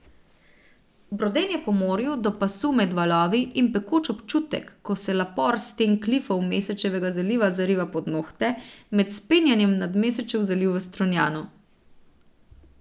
Brodenje po morju, do pasu med valovi, in pekoč občutek, ko se lapor s sten klifov Mesečevega zaliva zariva pod nohte, med vzpenjanjem nad Mesečev zaliv v Strunjanu.